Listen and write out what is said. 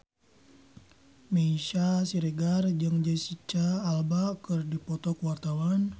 Meisya Siregar jeung Jesicca Alba keur dipoto ku wartawan